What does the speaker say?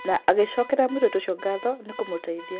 Na agĩcokeria mũirĩtu ũcio ngatho nĩ kũmũteithia.